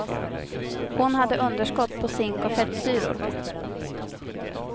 Hon hade underskott på zink och fettsyror.